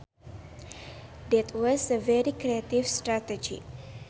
That was a very creative strategy